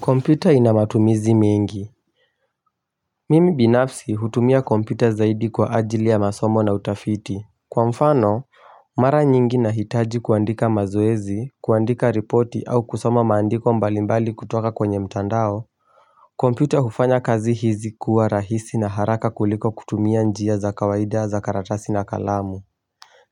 Kompyuta ina matumizi mengi. Mimi binafsi hutumia kompyuta zaidi kwa ajili ya masomo na utafiti. Kwa mfano, mara nyingi nahitaji kuandika mazuezi, kuandika ripoti au kusoma maandiko mbalimbali kutoka kwenye mtandao. Kompyuta hufanya kazi hizi kuwa rahisi na haraka kuliko kutumia njia za kawaida za karatasi na kalamu.